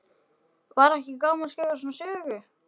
Gunnar Atli: Var ekki gaman að skrifa svona sögu?